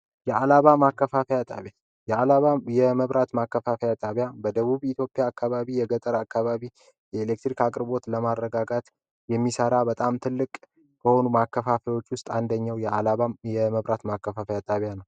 የአላባ ማከፋፈያ ጣቢያ የዓላባ የመብራት ማከፋፈያ ጣቢያ በደቡብ ኢትዮጵያ አካባቢ የገጠር አካባቢ የኤሌክትሪክ አቅርቦት ለማረጋጋት የሚሠራ በጣም ትልቅ ከሆኑም ማከፋፊዎች ውስጥ አንደኘው የአላባ የመብራት ማከፋፈያ ጣቢያ ነው።